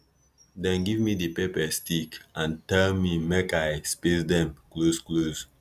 dem give me di pepper stick and tell me make i space dem closeclose